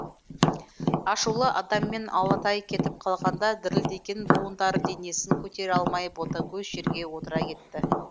ашулы адыммен алатай кетіп қалғанда дірілдеген буындары денесін көтере алмай ботагөз жерге отыра кетті